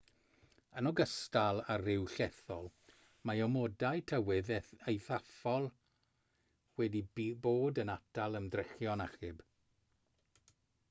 yn ogystal â'r rhew llethol mae amodau tywydd eithafol wedi bod yn atal ymdrechion achub